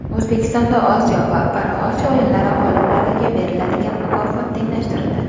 O‘zbekistonda Osiyo va ParaOsiyo o‘yinlari g‘oliblariga beriladigan mukofot tenglashtirildi.